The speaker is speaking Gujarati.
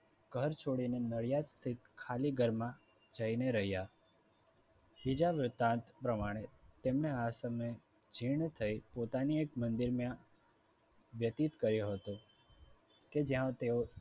ઘર છોડીને નડિયાદ shift ખાલી ઘરમાં જઈને રહ્યા. બીજા વ્યતાત પ્રમાણે તેમને આ સમયે જીર્ણ થઈ પોતાની મંદિરમાં વ્યતિત કર્યો હતો કે જ્યાં તેઓ